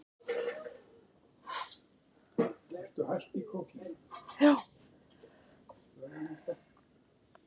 Þeir kölluðu saman fund.